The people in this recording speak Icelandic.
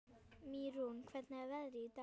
Mýrún, hvernig er veðrið í dag?